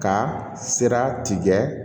Ka sira tigɛ